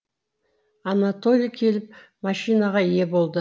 анатолий келіп машинаға ие болды